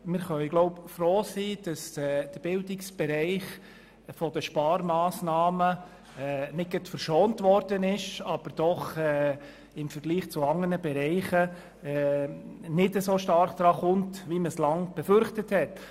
Wir können froh sein, dass der Bildungsbereich von den Massnahmen zwar nicht verschont wurde, aber doch im Vergleich zu anderen Bereichen nicht so stark betroffen ist, wie man es lange Zeit befürchtet hat.